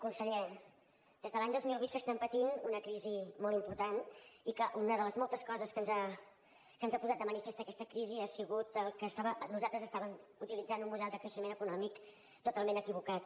conseller des de l’any dos mil vuit que estem patint una crisi molt important i que una de les moltes coses que ens ha posat de manifest aquesta crisi ha sigut que nosaltres estàvem utilitzant un model de creixement econòmic totalment equivocat